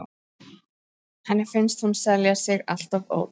Henni finnst hún selja sig alltof ódýrt.